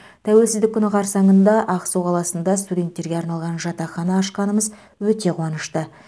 тәуелсіздік күні қарсаңында ақсу қаласында студенттерге арналған жатақхана ашқанымыз өте қуанышты